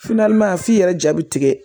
f'i yɛrɛ ja bi tigɛ